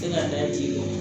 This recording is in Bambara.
Tɛ ka da ten tɔ